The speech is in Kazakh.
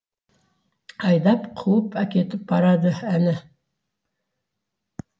айдап қуып әкетіп барады әлі